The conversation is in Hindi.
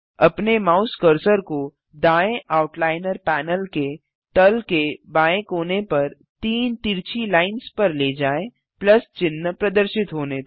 अपने माउस कर्सर को दाएँ आउटलाइनर पैनल के तल के बाएँ कोने पर तीन तिरछी लाइन्स पर ले जाएँ प्लस चिन्ह प्रदर्शित होने तक